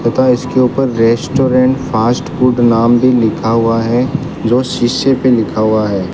तथा इसके ऊपर रेस्टोरेंट फास्ट फूड नाम भी लीखा हुआ है जो शिशे पे लिखा हुआ है।